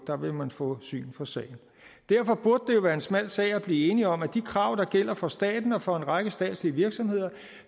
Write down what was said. der vil man få syn for sagen derfor burde det jo være en smal sag at blive enige om at de krav der gælder for staten og for en række statslige virksomheder